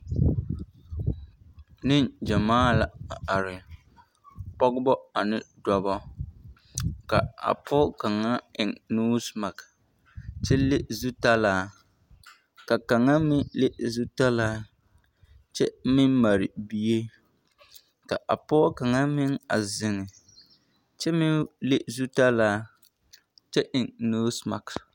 Neŋgyɛmaa la a are, pɔgebɔ ane dɔbɔ ka a pɔge kaŋa a eŋ noosimaki kyɛ le zutalaa ka kaŋa meŋ le zutalaa kyɛ meŋ mare bie ka a pɔge kaŋa meŋ a zeŋ kyɛ meŋ le zutalaa kyɛ eŋ noosimaki.